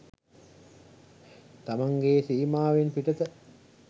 තමන්ගේ සීමාවෙන් පිටත